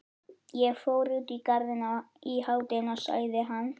Ég fór út í Garðinn í hádeginu sagði hann.